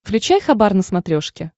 включай хабар на смотрешке